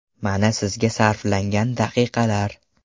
Mana sizga sarflangan daqiqalar!